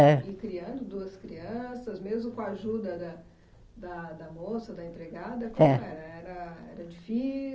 É. E criando duas crianças, mesmo com a ajuda da da da moça, da empregada, como era? Era